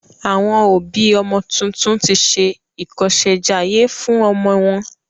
Àwọn ọ̀bí ọmọ tuntun tí ṣe ìkọsèjayé fún ọmọ wọn.